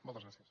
moltes gràcies